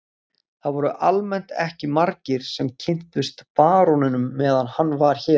Það voru almennt ekki margir sem kynntust baróninum meðan hann var hér.